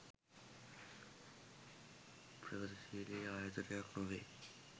ප්‍රගතිශීලී ආයතනයක් නොවේ.